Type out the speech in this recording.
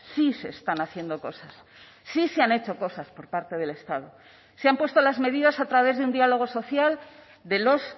sí se están haciendo cosas sí se han hecho cosas por parte del estado se han puesto las medidas a través de un diálogo social de los